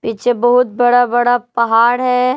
पीछे बहुत बड़ा बड़ा पहाड़ है।